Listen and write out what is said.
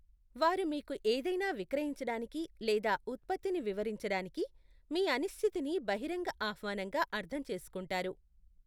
వారు మీకు ఏదైనా విక్రయించడానికి లేదా ఉత్పత్తిని వివరించడానికి, మీ అనిశ్చితిని బహిరంగ ఆహ్వానంగా అర్థం చేసుకుంటారు.